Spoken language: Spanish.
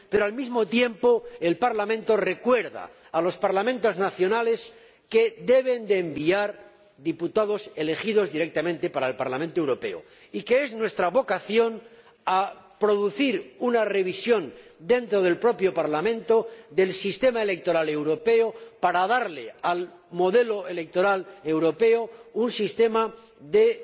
Pero, al mismo tiempo, el Parlamento recuerda a los Parlamentos nacionales que deben enviar diputados elegidos directamente para el Parlamento Europeo y que es nuestra vocación llevar a cabo, dentro del propio Parlamento, una revisión del sistema electoral europeo para darle al modelo electoral europeo un sistema de